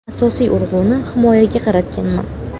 Asosiy urg‘uni himoyaga qaratganman.